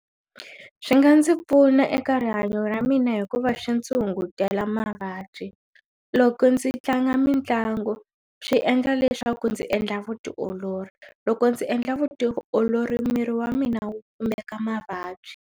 Swi nga ndzi pfuna eka rihanyo ra mina hikuva switshungudyela mavabyi loko ndzi tlanga mitlangu swi endla leswaku ndzi endla vutiolori loko ndzi endla vutiolori miri wa mina wu kumeka mavabyi.